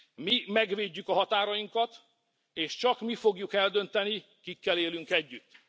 Mi megvédjük a határainkat, és csak mi fogjuk eldönteni, kikkel élünk együtt.